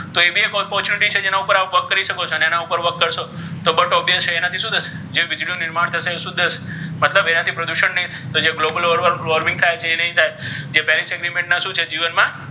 તો ઍ ભી ઍક opportunity છે જીવન મા work કરી શકો છો અને ઍના પર work કરશો તો but obviously છે ઍનાથી શુ થશે જે વીજળી નુ નિર્માણ થશે ઍ શુધ હશે મતલબ એનાથી પ્રદુષણ નહી થાય તો જ્ર global warming થાય છે ઍ નહી થાય જે શુ છે ઍ જીવન મા